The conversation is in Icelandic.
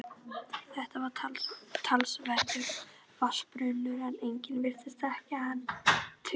Þetta var talsverður vatnsburður en engum virtist þykja hann tiltökumál.